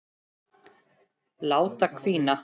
Láta hvína.